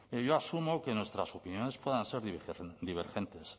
yo asumo que nuestras opiniones divergentes